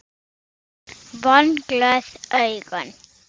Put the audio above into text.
Vonglöð augun.